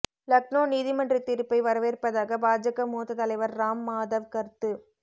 லக்னோ நீதிமன்ற தீர்ப்பை வரவேற்பதாக பாஜக மூத்த தலைவர் ராம் மாதவ் கருத்து